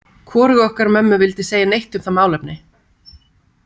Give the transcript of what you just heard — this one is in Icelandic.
Hvorug okkar mömmu vildi segja neitt um það málefni.